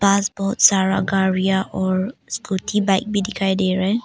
पास बहोत सारा गाड़ियां और स्कूटी बाइक भी दिखाई दे रहे--